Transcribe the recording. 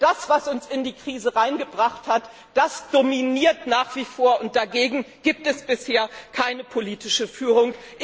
Also das, was uns in die Krise hineingebracht hat, das dominiert nach wie vor, und dagegen gibt es bisher keine politische Führung.